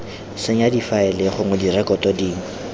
senya difaele gongwe direkoto dingwe